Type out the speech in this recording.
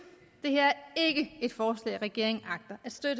det et forslag regeringen agter at støtte